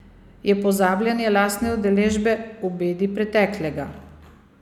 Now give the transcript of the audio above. Je pozabljanje lastne udeležbe v bedi preteklega.